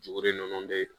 Juru ninnu bɛ